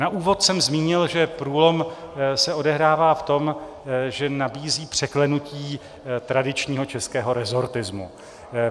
Na úvod jsem zmínil, že průlom se odehrává v tom, že nabízí překlenutí tradičního českého resortismu.